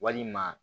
Walima